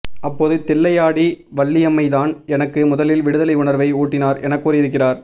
அப்போது தில்லையாடி வள்ளியம்மைதான் எனக்கு முதலில் விடுதலை உணர்வை ஊட்டினார் என கூறியிருக்கிறார்